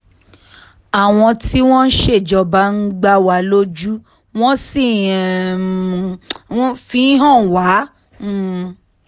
àwọn tí wọ́n ń ṣèjọba ń gbà wá lójú wọ́n sì um fi ń hàn wá um